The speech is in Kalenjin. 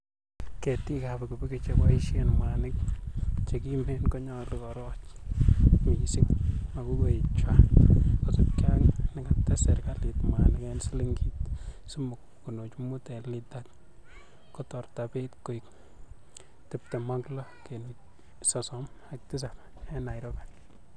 Getikab pikipiki cheboishen mwanik chekimen konyolu koroch missing mokukoigchwak, kosiibge ak nekates serkalit mwanik en silingit somok kenuch mut en litait ,kotorto beit koik 26.37 en Nairobi.